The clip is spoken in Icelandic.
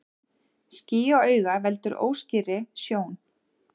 Ský á auga veldur óskýrri sjón.